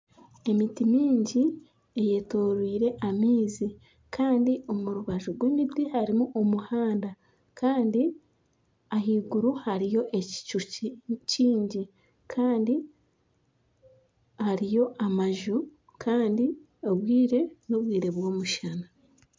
Emiti mingi eyetoreirwe amaizi Kandi omurubaju rwemiti harimu omuhanda Kandi ahaiguru hariyo ekicu kyingi Kandi hariyo amaju Kandi obwire nobwire bwomushana